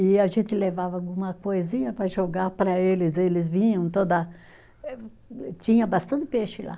E a gente levava alguma coisinha para jogar para eles, eles vinham toda eh, tinha bastante peixe lá.